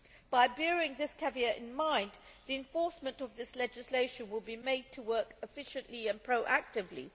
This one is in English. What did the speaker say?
By bearing this caveat in mind, the enforcement of this legislation will made to work efficiently and proactively.